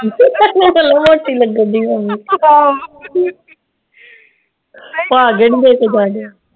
ਮੋਟੀ ਲੱਗਣ ਦਈ ਮੰਮੀ ਆਹੋ